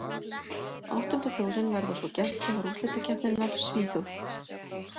Áttunda þjóðin verða svo gestgjafar úrslitakeppninnar, Svíþjóð.